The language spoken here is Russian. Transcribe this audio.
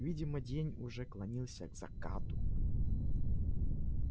видимо день уже клонился к закату